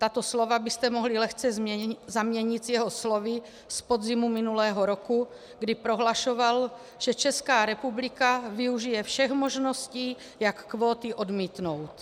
Tato slova byste mohli lehce zaměnit s jeho slovy z podzimu minulého roku, kdy prohlašoval, že Česká republika využije všech možností, jak kvóty odmítnout.